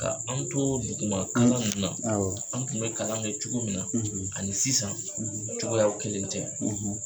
Ka an to duguma kalan ninnu, awɔ, an tun bɛ kalan ni cogo min na, , ani sisan ,, cogoyaw kelen tɛ.